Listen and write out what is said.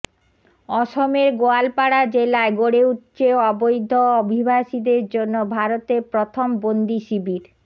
অসমের গোয়ালপাড়া জেলায় গড়ে উঠছে অবৈধ অভিবাসীদের জন্য ভারতের প্রথম বন্দি শিবির